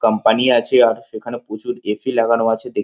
Company আছেে আর এখানে প্রচুর এ.সি. লাগানো আছে দেখ --